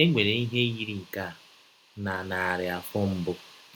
E nwere ihe yiri nke a na narị afọ mbụ